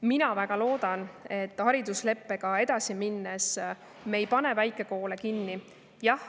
Mina väga loodan, et haridusleppega edasi minnes me ei pane väikekoole kinni.